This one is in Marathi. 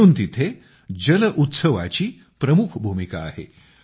म्हणून तेथे जलउत्सवाची प्रमुख भूमिका आहे